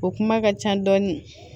O kuma ka ca dɔɔni